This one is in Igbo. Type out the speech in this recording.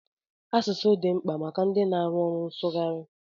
Asụsụ dị mkpa maka ndị na-arụ ọrụ nsụgharị.